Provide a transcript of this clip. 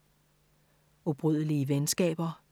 Ubrydelige venskaber